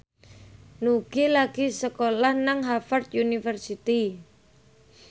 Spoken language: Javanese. Nugie lagi sekolah nang Harvard university